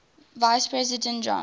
vice president john